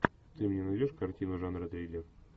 ты мне найдешь картину жанра триллер